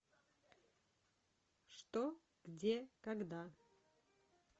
что где когда